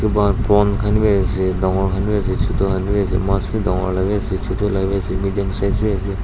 watbon khan bhi ase dangor khan bhi ase chota khan ase maas bhi danggor laga bhi ase chota laga ase midium size ase.